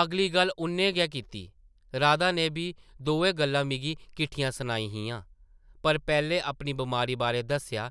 अगली गल्ल उʼन्नै गै कीती, ‘‘राधा नै बी दोऐ गल्लां मिगी किट्ठियां सनाइयां हियां, पर पैह्लें अपनी बमारी बारै दस्सेआ